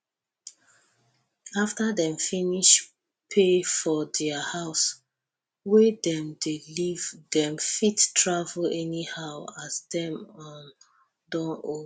after dem finish pay for dia house wey dem dey live dem fit travel anyhow as dem um don old